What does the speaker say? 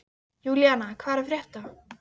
Júlína, hvað er að frétta?